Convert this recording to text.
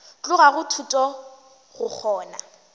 tloga go thuto go kgona